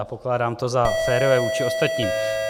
A pokládám to za férové vůči ostatním.